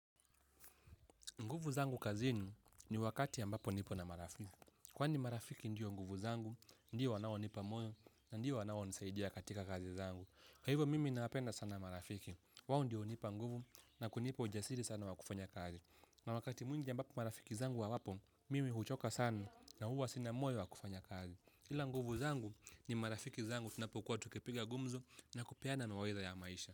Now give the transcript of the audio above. Nguvu zangu kazini ni wakati ambapo nipo na marafiki. Kwani marafiki ndio nguvu zangu, ndio wanaonipa moyo na ndio wanaonisaidia katika kazi zangu. Kwa hivyo mimi nawapenda sana marafiki, wao ndio hunipa nguvu na kunipa ujasiri sana wa kufanya kazi. Na wakati mwingi ambapo marafiki zangu hawapo, mimi huchoka sana na huwa sina moyo wa kufanya kazi. Ila nguvu zangu ni marafiki zangu tunapokuwa tukipiga gumzo na kupeana mawaidha ya maisha.